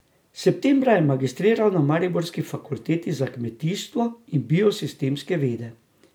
Septembra je magistriral na mariborski fakulteti za kmetijstvo in biosistemske vede.